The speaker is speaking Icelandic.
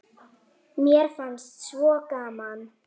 Þetta var Bjarmi!